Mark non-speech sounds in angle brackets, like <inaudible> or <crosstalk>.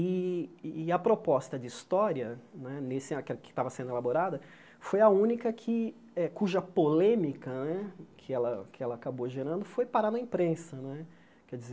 E e a proposta de história né nesse, <unintelligible> que estava sendo elaborada, foi a única que eh cuja polêmica né, que ela que ela acabou gerando, foi parar na imprensa né. Quer dizer